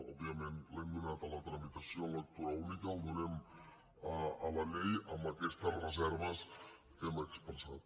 òbviament l’hem donat a la tramitació en lectura única el donem a la llei amb aquestes re·serves que hem expressat